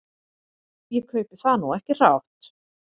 Ég kaupi það nú ekki hrátt.